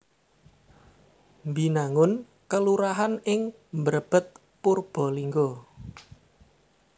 Binangun kelurahan ing Mrebet Purbalingga